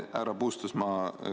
Aitäh!